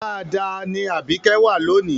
Dáadáa ni Àbíkẹ́ wà lónì